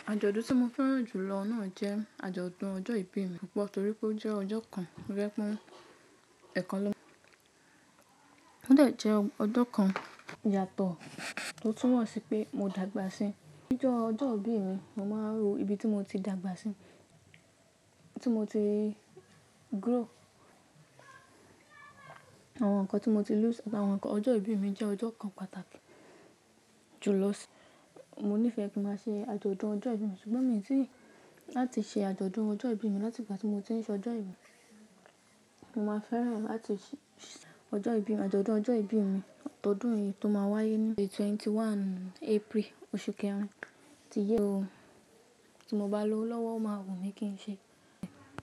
Àjọ̀dún tí mo fẹ́ràn jù lọ náà jẹ́ àjọ̀dún ọjọ́ ìbí mi púpọ̀ torí pé ó jẹ́ ọjọ́ kan rẹ́kún ẹ̀kan ló máa ń ó dà jẹ́ ọjọ́ kan ìyàtọ̀ tó túnmọ̀ sí pé mo dàgbà sí i. Nígbà ọjọ́ ìbí mi, mo máa ń rò ibi tí mo ti dàgbà sí i, tí mo ti grow, àwọn nǹkan tí mo ti lose àti àwọn nǹkan. Ọjọ́ ìbí mi jẹ́ ọjọ́ kan pàtàkì jù lọ sí i. Mo níìfẹ́ kí ń má ṣe àjọ̀dún ọjọ́ ìbí mi ṣùgbọ́n mi ò tí ì láti ṣe àjọ̀dún ọjọ́ ìbí mi láti ìgbà tí mo ti ń ṣe ọjọ́ ìbí, mo máa fẹ́ràn láti ṣe ọjọ́ ìbí mi, àjọ̀dún ọjọ́ ìbí mi ọdún yìí tó máa wáyé ní May 21 April oṣù kẹrin tí ìyẹ́ ọdún tó ń bọ̀ tí mo bá lọ lọ́wọ́ máa wù mí kí n ṣe.